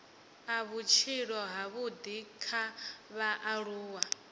a vhutshilo havhudi kha vhaaluwa